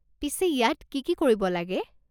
পিছে ইয়াত কি কি কৰিব লাগে?